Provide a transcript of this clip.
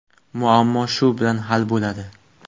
Muammo shu bilan hal bo‘ladi.